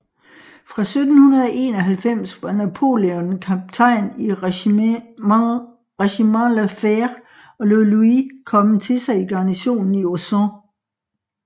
Fra 1791 var Napoléon kaptajn i Regiment La Fère og lod Louis komme til sig i garnisonen i Auxon